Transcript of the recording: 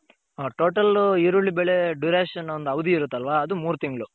Total ಈರುಳ್ಳಿ ಬೆಳೆ Duration ಒಂದ್ ಅವಧಿ ಇರುತ್ತಲ್ವ ಅದು ಮೂರ್ ತಿಂಗ್ಳು